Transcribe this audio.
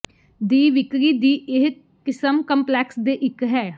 ਦੀ ਵਿਕਰੀ ਦੀ ਇਹ ਕਿਸਮ ਕੰਪਲੈਕਸ ਦੇ ਇੱਕ ਹੈ